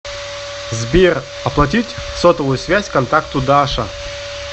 сбер оплатить сотовую связь контакту даша